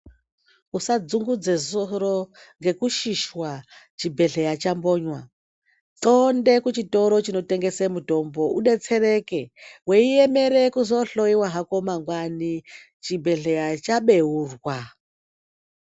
Usadzungudza soro ngekushishwa chibhedhleya chakonywa xonde kuchitoro chinotengeswa mutombo kuti udetsereke weimere kohloyiwa hako mangwani chibhedhleya chabeurwa.